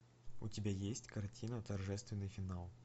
у тебя есть картина торжественный финал